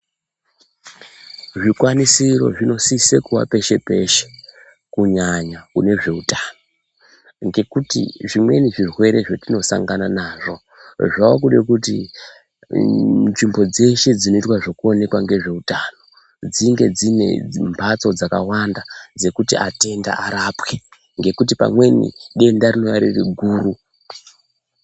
Zvikwanisiro zvinosise kuva peshe peshe, kunyanya kune zveutano, ngekuti zvimweni zvirwere zvatinosangana nazvo, zvaakude kuti uuu nzvimbo dzeshe dzinoita ngezvekuonekwa ngezveutano dzinge dzine mhatso dzakawanda, dzekuti atenda arapwe ngekuti pamweni denda rinouya riri guru.